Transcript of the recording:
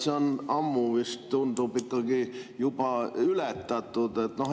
See on vist, tundub, ikkagi juba ammu ületatud.